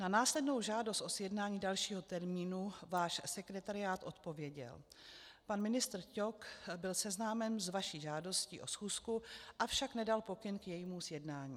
Na následnou žádost o sjednání dalšího termínu váš sekretariát odpověděl: Pan ministr Ťok byl seznámen s vaší žádostí o schůzku, avšak nedal pokyn k jejímu sjednání.